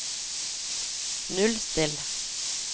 nullstill